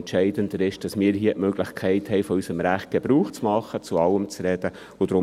entscheidender ist, dass wir hier die Möglichkeit haben, von unserem Recht, zu allem zu reden, Gebrauch machen.